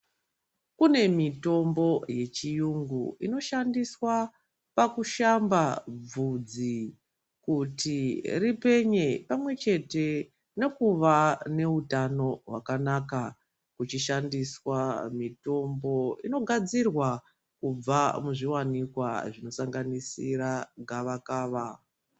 Kune mitombo yechirungu inoshandiswa pakushamba bvudzi kuti ripenye pamwechete nekuva neutano hwakanaka. Huchishandiswa mitombo inogadzirwa kubva muzviwanikwa zvinosanganisira gavakava